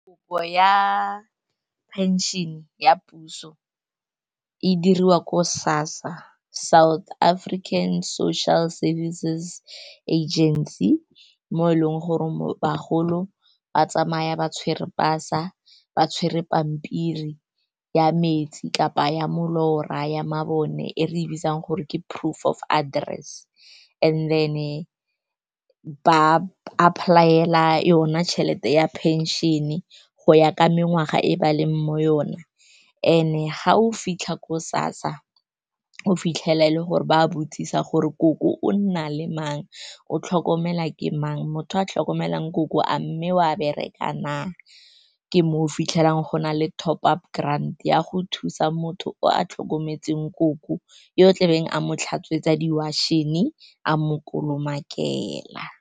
Kopo ya phenšene ya puso e diriwa ko SASSA, South African Social Services Agency, mo e leng gore mo bagolo ba tsamaya ba tshwere pasa, ba tshwere pampiri ya metsi kgotsa ya molora, ya mabone, e re e bitsang gore ke proof of address. And then ba apply-ela yona tšhelete ya phenšene go ya ka mengwaga e ba leng mo yona. And-e, ga o fitlha ko SASSA, o fitlhela e le gore ba a botsisa gore koko o nna le mang, o tlhokomela ke mang, motho a tlhokomelang koko a mme o a bereka na. Ke mo o fitlhelang go na le top-up grant ya go thusa motho a tlhokometseng koko, yo o tlabeng a mo tlhatswega, di-washing, a mo kolomakela.